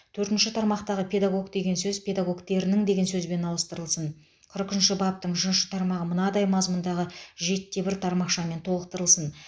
төртінші тармақтағы педагог деген сөз педагогтерінің деген сөзбен ауыстырылсын қырық үшінші баптың үшінші тармағы мынадай мазмұндағы жетіде бір тармақшамен толықтырылсын